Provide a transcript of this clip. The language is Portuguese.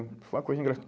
Foi uma coisa